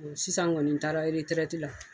E sisan kɔni n taara eretɛrɛtila.